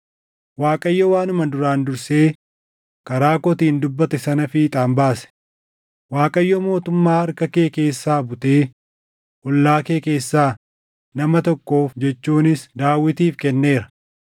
Waaqayyo waanuma duraan dursee karaa kootiin dubbate sana fiixaan baase. Waaqayyo mootummaa harka kee keessaa butee ollaa kee keessaa nama tokkoof jechuunis Daawitiif kenneera.